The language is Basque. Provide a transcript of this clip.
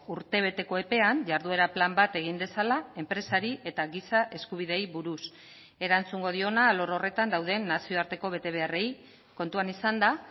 urtebeteko epean jarduera plan bat egin dezala enpresari eta giza eskubideei buruz erantzungo diona alor horretan dauden nazioarteko betebeharrei kontuan izanda